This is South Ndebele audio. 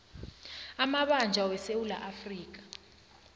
amabanjwa wesewula afrika